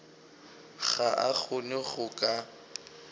ga a kgone go ka